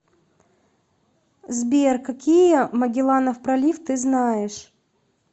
сбер какие магелланов пролив ты знаешь